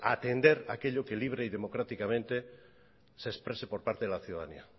a atender aquello que libre y democráticamente se exprese por parte de la ciudadanía